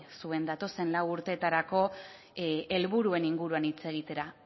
zuen datozen lau urteetarako helburuen inguruan hitz egitera